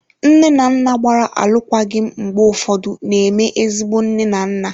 Nne na nna gbara alụkwaghịm mgbe ụfọdụ na-eme ezigbo nne na nna.